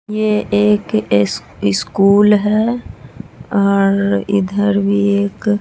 ये एक एस स्कूल है और इधर भी एक --